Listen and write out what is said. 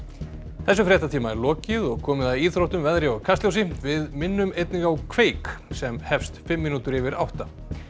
þessum fréttatíma er lokið og komið að íþróttum veðri og Kastljósi við minnum einnig á kveik sem hefst fimm mínútur yfir átta